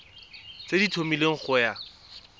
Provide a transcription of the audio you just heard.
tse di tlhomilweng go ya